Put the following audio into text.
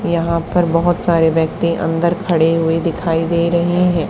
यहां पर बहुत सारे व्यक्ति अंदर खड़े हुए दिखाई दे रहे हैं।